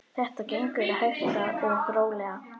Þetta gengur hægt og rólega.